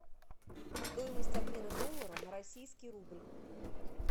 стоимость обмена доллара на российский рубль